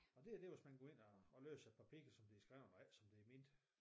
Og det er det hvis man går ind og og læser papirer som de er skreven og ikke som de er ment